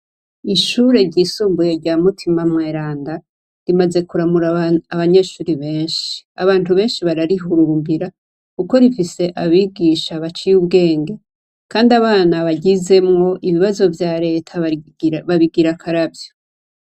Ishure ryisumbuye rya mutima mweranda rimaze kuramura abanyeshuri benshi, abantu benshi bararihuhumbira kuko rifise abigisha baciye ubwenge kandi abana baryizemwo ibibazo vya reta babigira akaravyo.